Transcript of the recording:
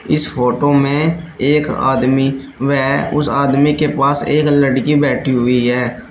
इस फोटो में एक आदमी वे उस आदमी के पास एक लड़की बैठी हुई है।